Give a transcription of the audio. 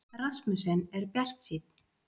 Rasmussen er bjartsýnn